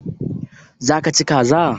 Za ka ci kaza?